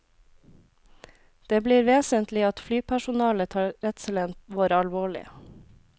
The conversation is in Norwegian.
Det blir vesentlig at flypersonalet tar redselen vår alvorlig.